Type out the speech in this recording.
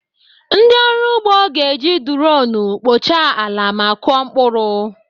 Ndị ọrụ ugbo ga-eji duroonu kpochaa ala ma kụọ mkpụrụ.